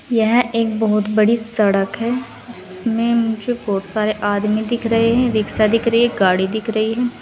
यह एक बोहोत बड़ी सड़क है जिसमें मुझे बोहोत सारे आदमी दिख रहे हैं रिक्शा दिख रही है गाड़ी दिख रही है।